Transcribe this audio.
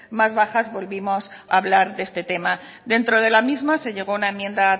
más bajas volvimos a hablar de este tema dentro de la misma se llegó a aun enmienda